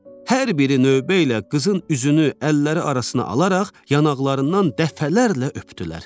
Hər biri növbə ilə qızın üzünü əlləri arasına alaraq yanaqlarından dəfələrlə öpdülər.